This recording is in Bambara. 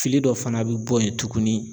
Fili dɔ fana bi bɔ yen tuguni.